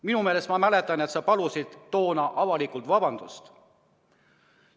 Minu meelest – ma justkui mäletan – sa palusid siis avalikult vabandust.